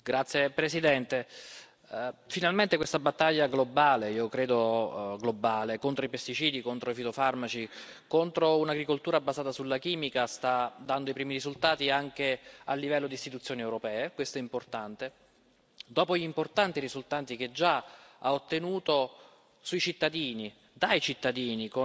Signor Presidente, onorevoli colleghi, finalmente questa battaglia globale, che io credo globale, contro i pesticidi e contro i fitofarmaci, contro un'agricoltura basata sulla chimica sta dando i primi risultati, anche a livello di istituzioni europee, questo è importante, dopo gli importanti risultati che ha già ottenuto sui cittadini, dai cittadini,